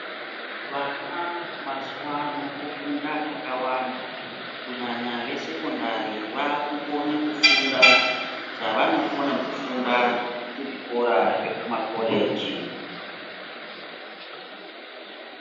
Vana mazuwano vanofunda zvakawanda kunyanya vesekondari vakukone kufunda zvavanokone kufunda kumakoleji